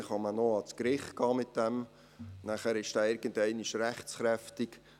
In diesem Fall kann man noch vor Gericht gehen, danach wird der Entscheid irgendwann rechtskräftig.